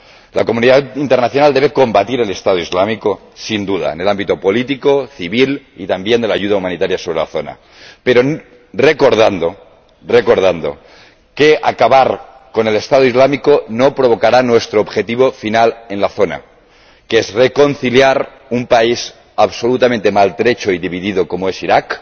La comunidad internacional debe combatir el Estado Islámico, sin duda, en el ámbito político, civil y también de la ayuda humanitaria sobre la zona, pero recordando que acabar con el Estado Islámico no logrará nuestro objetivo final en la zona, que es reconciliar un país absolutamente maltrecho y dividido, como es Irak,